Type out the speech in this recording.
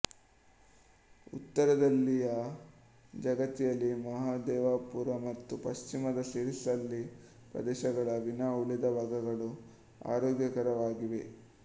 ಉತ್ತರದಲ್ಲಿಯ ಜಗತಿಯಾಲ್ ಮಹದೇವಪುರ ಮತ್ತು ಪಶ್ಚಿಮದ ಸಿರಿಸಿಲ್ಲ ಪ್ರದೇಶಗಳ ವಿನಾ ಉಳಿದ ಭಾಗಗಳು ಆರೋಗ್ಯಕರವಾಗಿವೆ